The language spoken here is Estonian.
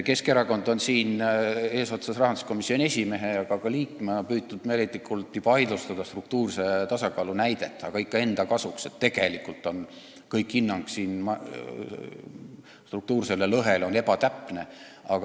Keskerakond on eesotsas rahanduskomisjoni esimehe, aga ka liikmetega püüdnud meeleheitlikult vaidlustada struktuurse tasakaalu näidet, aga ikka enda kasuks, et tegelikult on hinnang struktuursele lõhele ebatäpne.